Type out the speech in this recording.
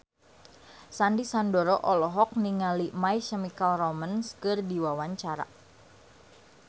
Sandy Sandoro olohok ningali My Chemical Romance keur diwawancara